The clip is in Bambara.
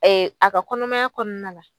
Ɛɛ a ka kɔnɔmaya kɔnɔna la